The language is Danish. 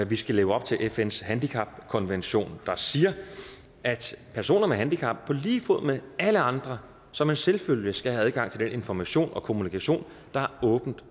vi skal leve op til fns handicapkonvention der siger at personer med handicap på lige fod med alle andre som en selvfølge skal have adgang til den information og kommunikation der er åben